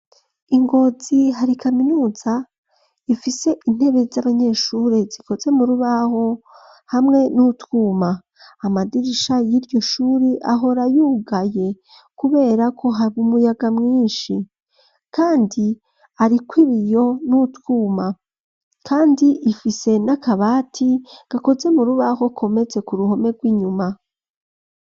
Ingozi hari ikaminuza ifise intebe z'abanyeshure zikoze mu rubaho hamwe n'utwuma amadirisha y'iryo shuri ahorayugaye kuberako hari umuyaga mwinshi, kandi, ariko ib iyo n' utwuma, kandi ifise ni akabati gakoze mu rubaho komeze ku ruhome rw'inyuma.